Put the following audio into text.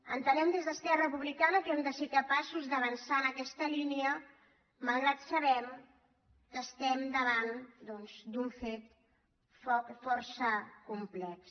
entenem des d’esquerra republicana que hem de ser capaços d’avançar en aquesta línia malgrat que sabem que estem davant d’un fet força complex